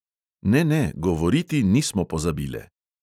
Ne, ne, govoriti nismo pozabile!